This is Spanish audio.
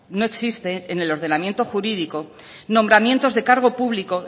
no existe en el ordenamiento jurídico nombramientos de cargo público